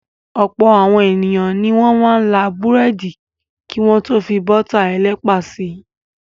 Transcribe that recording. Ọ̀pọ̀ àwọn ènìyàn ni wọ́n máa ń là búrẹ́dì kí wọ́n tó fi bọ́tà ẹlẹ́pà tẹ.